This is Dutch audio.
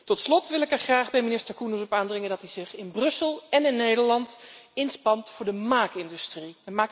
Tot slot wil ik er graag bij minister Koenders op aandringen dat hij zich in Brussel en in Nederland inspant voor de maakindustrie.